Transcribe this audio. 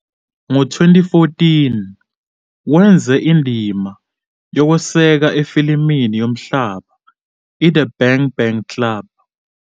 Ngo-2014, wenza indima yokweseka efilimini yomhlaba "iThe Bang Bang Club".